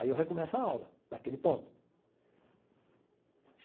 Aí eu recomeço a aula, daquele ponto.